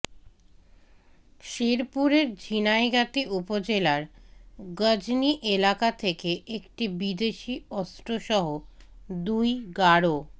শেরপুরের ঝিনাইগাতি উপজেলার গজনী এলাকা থেকে একটি বিদেশি অস্ত্রসহ দুই গারো